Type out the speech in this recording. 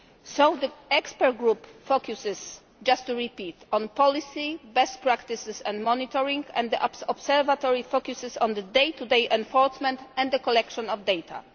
So the expert group focuses just to repeat on policy, best practices and monitoring, and the Observatory focuses on the day to day enforcement and the collection of data.